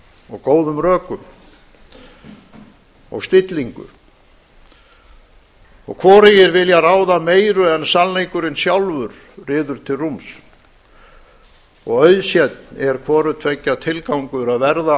og góðum rökum og stillíngu og hvorugir vilja ráða meiru enn sannleikurinn sjálfur ryður til rúms og auðsénn er hvorutveggja tilgángur að verða